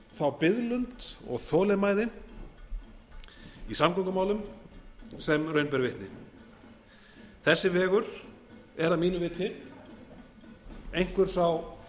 þá biðlund og þolinmæði í samgöngumálum sem raun ber vitni þessi vegur er að mínu viti einhver sá